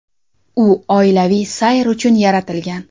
U oilaviy sayr uchun yaratilgan.